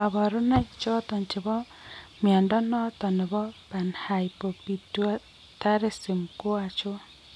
Kabarunaik choton chebo mnyondo noton nebo Panhypopituitarism koachon ?